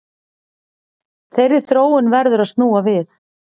Þeirri þróun verður að snúa við